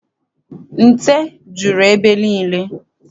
Nte juru ebe niile.